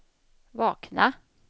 vakna